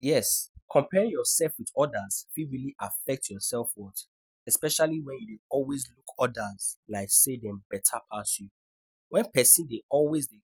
Yes, comparing yourself with others fit really affect your self-worth. Especially when you always look others like say dem better pass you. When pesin dey always dey